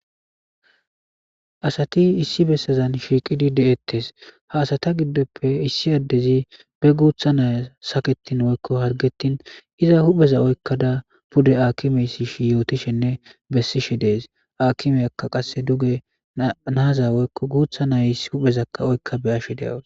asati issi bessazan shiiqidi de7ettes ha asata giddoppe issi addezi be guutha naya saketin woykko hargetin iza hupheza oykkada pude akimeysishi yootishenne bessishe dees aakimeyakka qasse duge naaza woykko guutha nayis huphezakka oykka be ashe de7awus